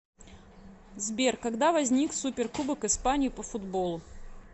сбер когда возник суперкубок испании по футболу